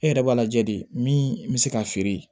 E yɛrɛ b'a lajɛ de min bɛ se ka feere